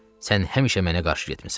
Sən həmişə mənə qarşı getmisən.